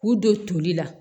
K'u don toli la